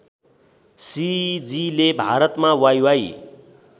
सिजीले भारतमा वाइवाइ